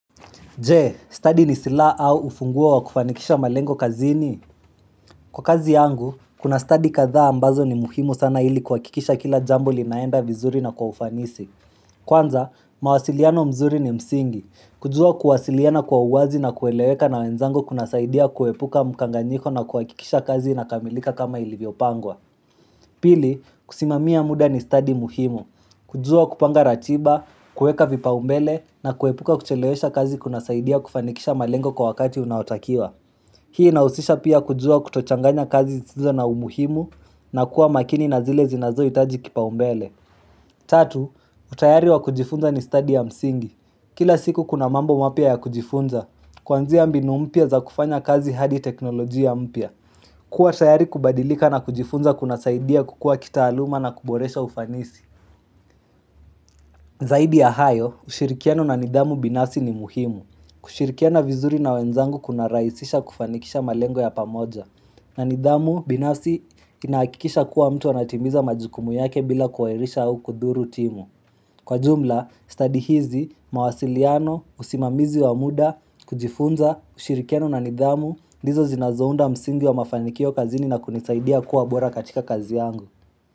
Je, stadi ni siliha au ufunguo wa kufanikisha malengo kazini? Kwa kazi yangu, kuna stadi kadhaa ambazo ni muhimu sana ili kuhakikisha kila jambo linaenda vizuri na kwa ufanisi. Kwanza, mawasiliano mzuri ni msingi. Kujua kuasiliana kwa uwazi na kueleweka na wenzangu kuna saidia kuepuka mkanganyiko na kuhakikisha kazi inakamilika kama ilivyopangwa. Pili, kusimamia muda ni stadi muhimu. Kujua kupanga ratiba, kueka vipaumbele na kuepuka kuchelewesha kazi kuna saidia kufanikisha malengo kwa wakati unaotakiwa Hii na usisha pia kujua kutochanganya kazi zizo na umuhimu na kuwa makini na zile zinazoitaji kipaumbele Tatu, utayari wa kujifunza ni stadi ya msingi Kila siku kuna mambo mapya ya kujifunza, kwanzia mbinu mpya za kufanya kazi hadi teknolojia mpya kuwa tayari kubadilika na kujifunza kuna saidia kukua kitaaluma na kuboresha ufanisi Zaidi ya hayo, ushirikiano na nidhamu binafsi ni muhimu. Kushirikiana vizuri na wenzangu kuna rahisisha kufanikisha malengo ya pamoja. Na nidhamu binasi inahakikisha kuwa mtu anatimiza majukumu yake bila kuwairisha au kudhuru timu. Kwa jumla, stadi hizi, mawasiliano, usimamizi wa muda, kujifunza, ushirikiano na nidhamu, ndizo zinazounda msingi wa mafanikio kazini na kunisaidia kuwa bora katika kazi yangu.